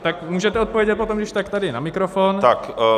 Tak můžete odpovědět potom když tak tady na mikrofon.